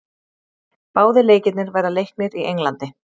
Báðir leikirnir verða leiknir í Englandi.